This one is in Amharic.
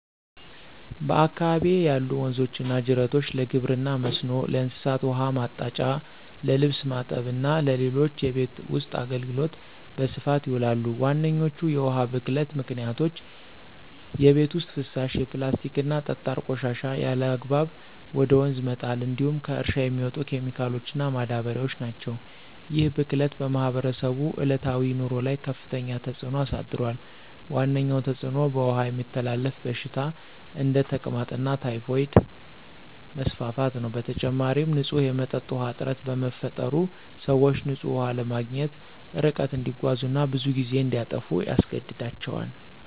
በአካባቢዬ ያሉ ወንዞችና ጅረቶች ለግብርና መስኖ፣ ለእንስሳት ውኃ ማጠጫ፣ ለልብስ ማጠብ እና ለሌሎች የቤት ውስጥ አገልግሎት በስፋት ይውላሉ። ዋነኞቹ የውሃ ብክለት ምክንያቶች የቤት ውስጥ ፍሳሽ፣ የፕላስቲክና ጠጣር ቆሻሻ ያለአግባብ ወደ ወንዝ መጣል እንዲሁም ከእርሻ የሚመጡ ኬሚካሎችና ማዳበሪያዎች ናቸው። ይህ ብክለት በማህበረሰቡ ዕለታዊ ኑሮ ላይ ከፍተኛ ተጽዕኖ አሳድሯል። ዋነኛው ተጽዕኖ በውሃ የሚተላለፉ በሽታዎች (እንደ ተቅማጥና ታይፎይድ) መስፋፋት ነው። በተጨማሪም፣ ንጹህ የመጠጥ ውሃ እጥረት በመፈጠሩ፣ ሰዎች ንጹህ ውሃ ለማግኘት ርቀት እንዲጓዙ እና ብዙ ጊዜ እንዲያጠፉ ያስገድዳቸዋል።